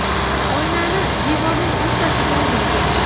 Oynani devorning o‘rtasiga o‘rnating.